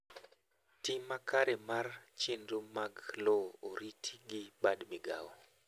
Tim makare mar chenro mag lowo oriti gi bad migao.